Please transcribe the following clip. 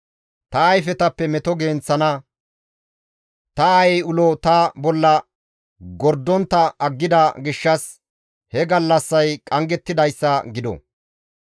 Ta ayfetappe meto genththana, ta aayey ulo ta bolla gordontta aggida gishshas he gallassay qanggettidayssa gido.